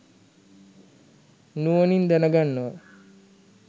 නුවණින් දැනගන්නවා.